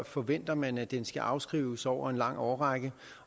forventer man at den skal afskrives over en lang årrække